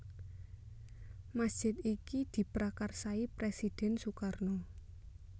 Masjid iki diprakarsai Presiden Sukarno